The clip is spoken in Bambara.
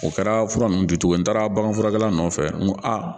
O kɛra fura nunnu jɔcogo ye n taara baganfurakɛla nɔfɛ n ko aa